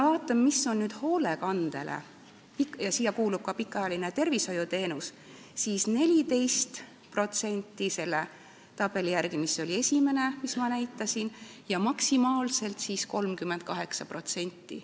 Vaatame, kui palju läheb hoolekandele, mille hulka kuulub ka pikaajaline tervishoiuteenus: 14% selle esimese tabeli järgi, mida ma näitasin, ja maksimaalselt 38%.